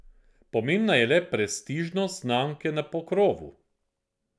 Pomembna je le prestižnost znamke na pokrovu.